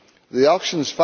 The auction's